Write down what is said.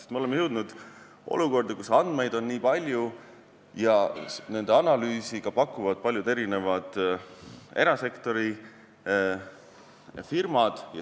Sest me oleme jõudnud olukorda, kus andmeid on nii palju ja nende analüüsi ka pakuvad paljud erinevad erasektori firmad.